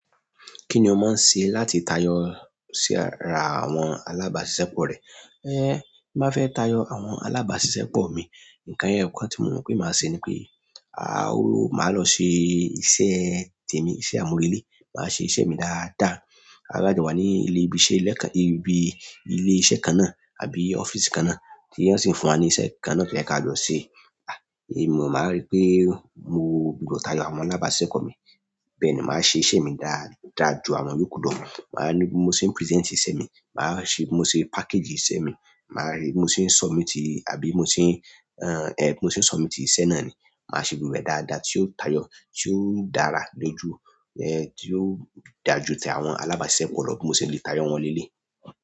Kíni o máa ń ṣe láti tayọ sí ara àwọn alábàáṣiṣẹ́ pọ rẹ? Eh, bí mo fẹ́ tayọ àwọn alábáṣiṣẹ́ pọ̀ mi, nǹkan ẹyọ kan tí mo mọ̀ pé màá ṣe ni pé, àá o máa lọ ṣe iṣẹ́ tèmi, iṣẹ́ àmúrelé, máa ṣe iṣẹ́ mi dáadáa. Táa bá jọ wà ní ilé ibiṣẹ́ lẹ́ẹ̀kan, ibi ilé iṣẹ́ kan náà àbí ọ́fíìsì kan náà tí wọ́n sì ń fún wa ní iṣẹ́ kan náà pé kí á lọ ṣe. À, èmi mo máa rí pé mo gbígbọ́ tayọ àwọn alábáṣiṣẹ́ pọ̀ mi. Bẹ́ẹ̀ ni màá ṣe iṣẹ́ mi dá, dáa ju àwọn yòókù lọ. Màá ní bí mo ṣe present iṣẹ́ mi, màá ṣe bí mo ṣe package iṣẹ́ mi, màá rí bí mo ṣe submit àbí mo ṣe, eh mo ṣe submit iṣẹ́ náà ni. Màá ṣe gbogbo rẹ̀ dáadáa tí yóò tayọ, tí yóò dára lójú, eh tí yóò dà jú tí àwọn alábáṣepọ̀ bí mo ṣe lè tayọ wọ́n lẹ́lé.